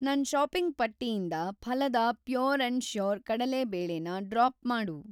ನನ್‌ ಷಾಪಿಂಗ್‌ ಪಟ್ಟಿಯಿಂದ ಫಾಲದಾ ಪ್ಯೂರ್‌ ಆ್ಯಂಡ್ ಶ್ಯೂರ್ ಕಡಲೆ ಬೇಳೆ ನ ಡ್ರಾಪ್‌ ಮಾಡು.